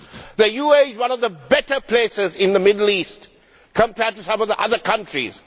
The UAE is one of the better places in the Middle East compared to some of the other countries.